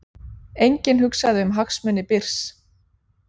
Enginn hugsaði um hagsmuni Byrs